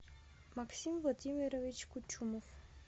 максим владимирович кучумов